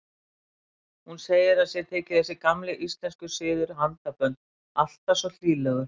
Hún segir að sér þyki þessi gamli íslenski siður, handabönd, alltaf svo hlýlegur.